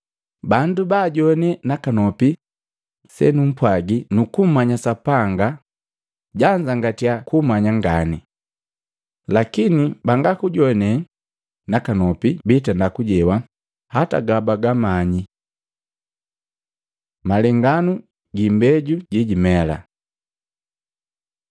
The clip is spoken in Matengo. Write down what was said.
Bandu bajoane nakanopi senumpwagi nukumanya Sapanga janzangatya kumanya ngane. Lakine bangakujoanee nakanopi biitenda kujewa hata gabagamanyi.” Malenganu gi imbeju jejimela